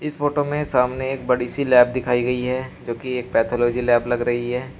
इस फोटो में सामने एक बड़ी सी लैब दिखाई गई है जोकि एक पैथोलॉजी लैब लग रही है।